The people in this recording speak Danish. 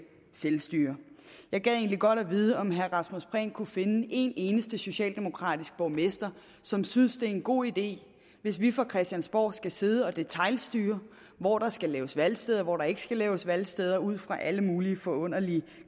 selvstyre jeg gad egentlig godt at vide om herre rasmus prehn kunne finde en eneste socialdemokratisk borgmester som synes det er en god idé hvis vi fra christiansborg skal sidde og detailstyre hvor der skal laves valgsteder og hvor der ikke skal laves valgsteder ud fra alle mulige forunderlige